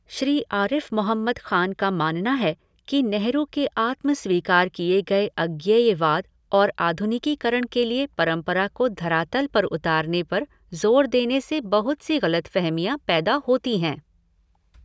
श्री आरिफ़ मोहम्मद खान का मानना है कि नेहरू के आत्म स्वीकार किए गए अज्ञेयवाद और आधुनिकीकरण के लिए परंपरा को धरातल पर उतारने पर ज़ोर देने से बहुत सी गलतफ़हमियां पैदा होती हैं।